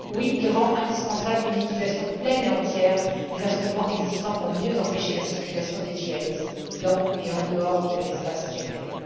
Oui, il rend indispensable une utilisation pleine et entière des instruments existants pour mieux empêcher la circulation des djihadistes à l'intérieur et à l'extérieur de l'espace Schengen.